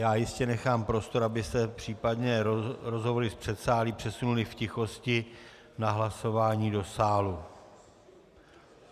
Já jistě nechám prostor, abyste případně rozhovory z předsálí přesunuli v tichosti na hlasování do sálu.